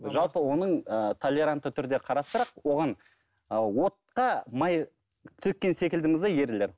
жалпы оның ыыы толерантты түрде оған ы отқа май төккен секілдіміз де ерлер